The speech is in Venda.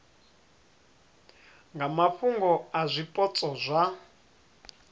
nga mafhungo a zwipotso zwa